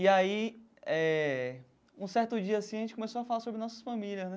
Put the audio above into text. E aí, é... Um certo dia, assim, a gente começou a falar sobre nossas famílias, né?